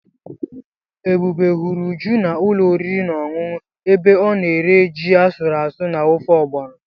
Ebube hụrụ Uju na ulo oriri na ọṅụṅụ ebe ọ na-eri ji asụrụ asụ na ofe Ọgbọnọ.